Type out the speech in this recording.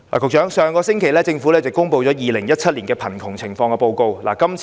局長，政府上星期公布了《2017年香港貧窮情況報告》。